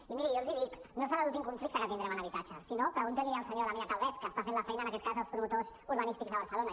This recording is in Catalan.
i miri jo els hi dic no serà l’últim conflicte que tindrem en habitatge si no pregunti l’hi al senyor damià calvet que està fent la feina en aquest cas als promotors urbanístics de barcelona